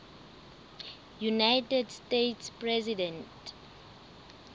united states president